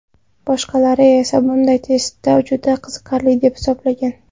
Boshqalari esa bunday testni juda qiziqarli deb hisoblagan.